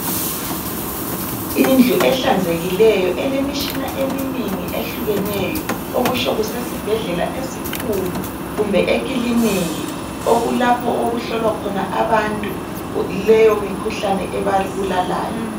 Indlu ehlanzekileyo elemishina eminingi ehlukeneyo okutsho kusesibhedlela esikhulu kumbe ekiliniki okulapho okuhlolwa khona abantu leyo mikhuhlane ebabulalayo.